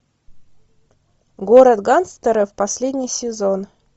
город гангстеров последний сезон